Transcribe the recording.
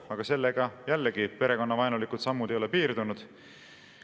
Aga sellega jällegi perekonnavaenulikud sammud ei ole piirdunud.